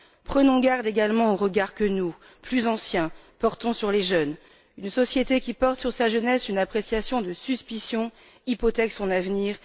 Prenons garde également au regard que nous, plus anciens, portons sur les jeunes une société qui porte sur sa jeunesse une appréciation de suspicion hypothèque son avenir.